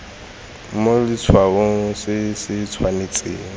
mo letshwaong se se tshwanetseng